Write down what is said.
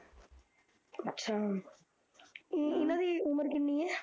ਅੱਛਾ ਅਮ ਇਹਨਾਂ ਦੀ ਉਮਰ ਕਿੰਨੀ ਐ